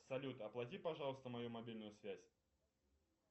салют оплати пожалуйста мою мобильную связь